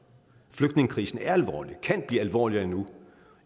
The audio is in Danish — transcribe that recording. flygtningekrisen er alvorlig og den kan blive alvorligere endnu